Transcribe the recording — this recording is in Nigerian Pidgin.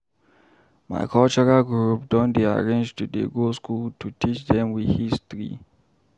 My cultural group don dey arrange to dey go skool to teach dem we history.